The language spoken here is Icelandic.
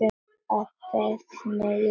Að beiðni Júlíu.